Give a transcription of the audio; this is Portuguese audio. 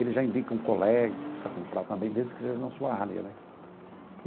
Ele já indica um colega que precisa comprar também, desde que seja na sua área, né?